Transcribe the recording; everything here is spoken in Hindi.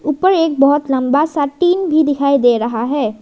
ऊपर एक बहुत लंबा सा टीन भी दिखाई दे रहा है।